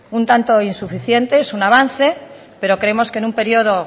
un tanto insuficiente es un avance pero creemos que en un periodo